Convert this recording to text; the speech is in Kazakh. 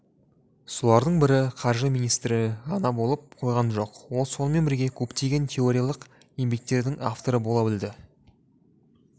солардың бірі қаржы министрі ғана болып қойған жоқ ол сонымен бірге көптеген теориялық еңбектердің авторы бола білді